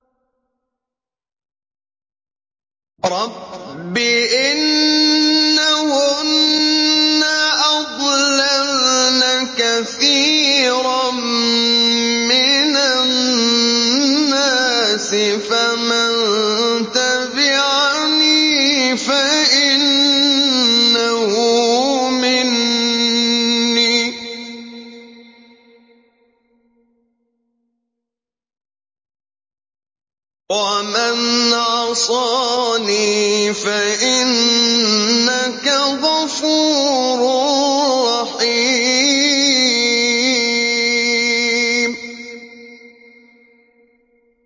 رَبِّ إِنَّهُنَّ أَضْلَلْنَ كَثِيرًا مِّنَ النَّاسِ ۖ فَمَن تَبِعَنِي فَإِنَّهُ مِنِّي ۖ وَمَنْ عَصَانِي فَإِنَّكَ غَفُورٌ رَّحِيمٌ